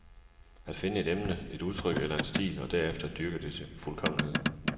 At finde et emne, et udtryk eller en stil, og derefter dyrke det til fuldkommenhed.